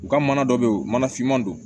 U ka mana dɔ bɛ yen u mana finma don